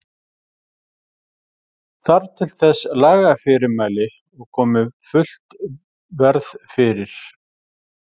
Þarf til þess lagafyrirmæli og komi fullt verð fyrir.